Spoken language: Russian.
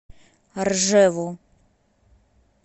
ржеву